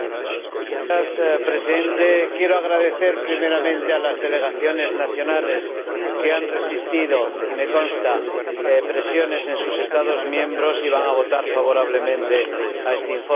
Señor Presidente, quiero agradecer primeramente a las delegaciones nacionales que han resistido —y me consta— a presiones en sus Estados miembros y van a votar favorablemente este informe.